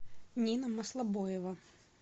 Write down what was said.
нина маслобоева